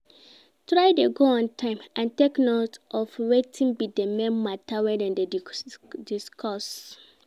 Try de go on time and take note of wetin be di main matter wey dem de discuss